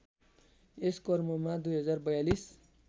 यस क्रममा २०४२